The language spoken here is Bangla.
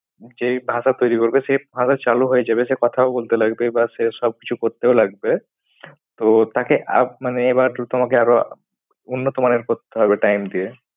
যেই ভাষা তৈরি করবে সেই ভাষা চালু হয়ে যাবে। সে কথাও বলতে লাগবে বা সে সব কিছু করতেও লাগবে। তো তাকে আপ মানে এবার তোমাকে আরো উন্নত মানের করতে হবে time দিয়ে।